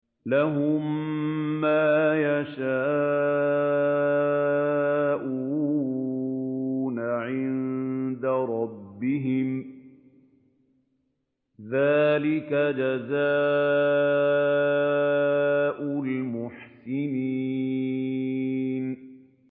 لَهُم مَّا يَشَاءُونَ عِندَ رَبِّهِمْ ۚ ذَٰلِكَ جَزَاءُ الْمُحْسِنِينَ